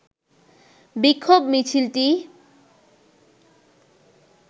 বিক্ষোভ মিছিলটি